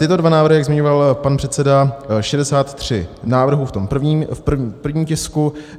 Tyto dva návrhy, jak zmiňoval pan předseda, 63 návrhů v tom první tisku.